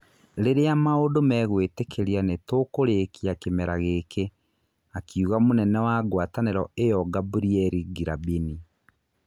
" Rĩrĩa maũndũ megũĩtĩkĩria nĩ tũkũrĩkia kĩmera gĩkĩ ", akiuga mũnene wa ngwatanĩro ĩyo Gaburieri Ngĩrabini.